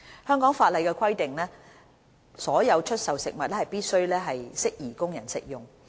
香港法例規定所有出售的食物必須適宜供人食用。